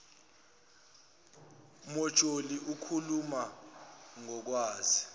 mojuli ikhuluma ngokwazi